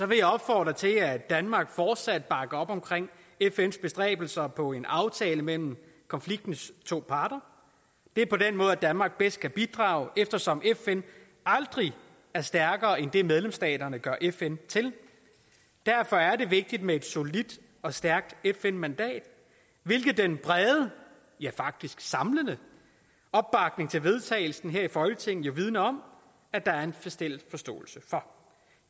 vil jeg opfordre til at danmark fortsat bakker op om fns bestræbelser på en aftale mellem konfliktens to parter det er på den måde danmark bedst kan bidrage eftersom fn aldrig er stærkere end det medlemsstaterne gør fn til derfor er det vigtigt med et solidt og stærkt fn mandat hvilket den brede ja faktisk samlende opbakning til vedtagelse her i folketinget jo vidner om at der er en fælles forståelse for